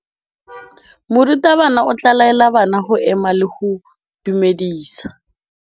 Morutabana o tla laela bana go ema le go go dumedisa.